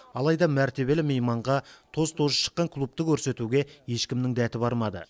алайда мәртебелі мейманға тоз тозы шыққан клубты көрсетуге ешкімнің дәті бармады